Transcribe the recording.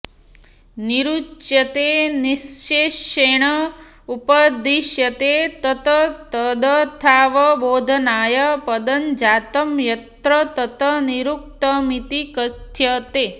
निरुच्यते निश्शेषेण उपदिश्यते तत् तदर्थावबोधनाय पदजातं यत्र तत् निरुक्तमिति कथ्यते